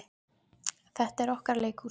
Þetta er okkar leikhús.